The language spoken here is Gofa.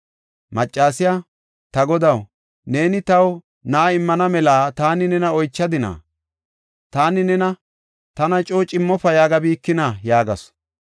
Maccasiya, “Ta godaw, neeni taw na7a immana mela taani nena oychadina? Taani nena, ‘Tana coo cimmofa yaagabikinaa?’ ” yaagasu.